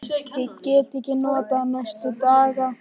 Ég gat ekkert notað hann næstu daga.